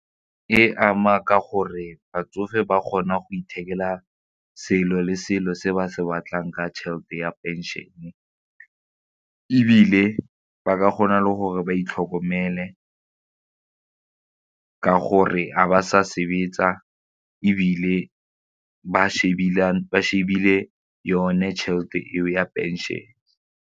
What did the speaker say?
E ama ka gore batsofe ba kgona go ithekela selo le selo se ba se batlang ka tšhelete ya pension-e ebile ba ka gona le gore ba itlhokomele ka gore ga ba sa sebetsa ebile ba shebile yone tšhelete eo ya pension.